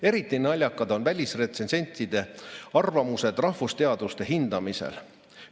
Eriti naljakad on välisretsensentide arvamused rahvusteaduste hindamisel.